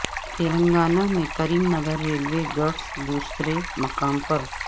تلنگانہ میں Karimnagar railway goods دوسرے مقام پر